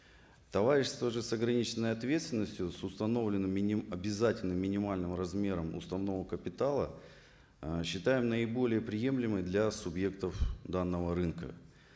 товарищество же с ограниченной ответственностью с установленным обязательным минимальным размером установок капитала ы считаем наиболее приемлемой для субъектов данного рынка